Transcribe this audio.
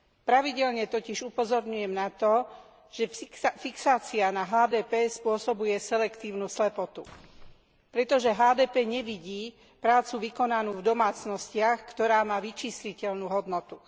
Pravidelne totiž upozorňujem na to, že fixácia na HDP spôsobuje selektívnu slepotu, pretože HDP nevidí prácu vykonanú v domácnostiach, ktorá má vyčísliteľnú hodnotu.